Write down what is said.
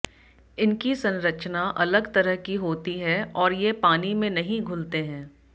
इनकी संरचना अलग तरह की होती है और ये पानी में नहीं घुलते हैं